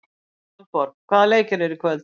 Valborg, hvaða leikir eru í kvöld?